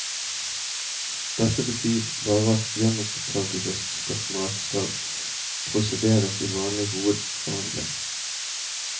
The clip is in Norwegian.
Dette betyr bare at gjenopptagelsesspørsmålet skal prosederes i vanlig hovedforhandling.